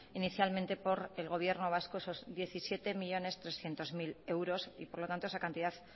inicialmente por el gobierno vasco esos diecisiete millónes trescientos mil euros y por lo tanto esa cantidad